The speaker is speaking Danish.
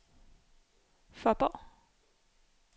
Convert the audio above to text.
Fåborg